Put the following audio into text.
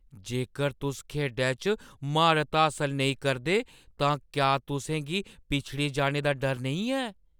जेकर तुस खेढै च म्हारत हासल नेईं करदे तां क्या तुसें गी पिछड़ी जाने दा डर नेईं ऐ?